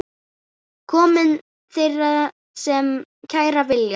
Komi þeir sem kæra vilja.